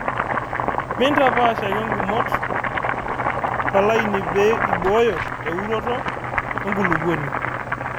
mitampaasha ake ingumot tolaini pee ibooyo euroto enkulupuoni